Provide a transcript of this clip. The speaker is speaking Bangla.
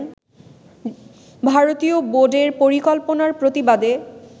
ভারতীয় বোর্ডের পরিকল্পনার প্রতিবাদে